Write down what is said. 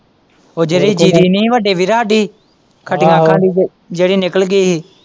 ਜਿਹੜੀ ਜ਼ੀਰੀ ਨੀ ਸੀ ਵੱਡੇ ਵੀਰ ਹਾਂਡੀ ਖੱਟੀਆਂ ਅੱਖਾਂ ਦੀ ਜਿਹੜੀ ਨਿਕਲ਼ ਗਈ ਹੀ।